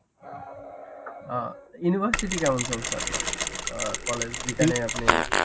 ওহ university কেমন চলছে আপনার? অ্যাঁ কলেজ যেখানে আপনি